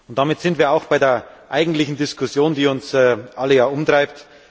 Damit sind wir auch bei der eigentlichen Diskussion, die uns ja alle umtreibt.